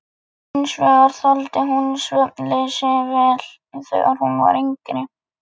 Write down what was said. Hins vegar þoldi hún svefnleysi vel þegar hún var yngri.